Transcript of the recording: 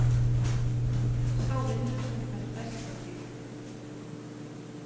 Sá vinnur sem fær flest stig.